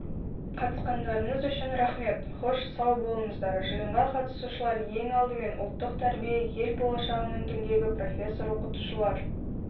қатысқандарыныз үшін рахмет хош сау болыңыздар жиынға қатысушылар ең алдымен ұлттық тәрбие ел болашағының діңгегі профессор-оқытушылар